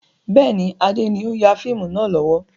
Bẹ́ẹ̀ni, Adé ni o n ya fíìmù náà lọ́wọ́.